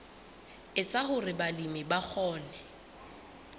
etsa hore balemi ba kgone